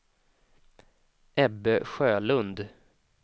Ebbe Sjölund